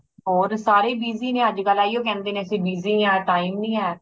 ਹੋਰ ਸਾਰੇ ਹੀ busy ਨੇ ਅੱਜ ਕੱਲ ਅਹਿਓ ਕਹਿੰਦੇ ਨੇ ਅੱਸੀ busy ਆ time ਨਹੀਂ ਹੈ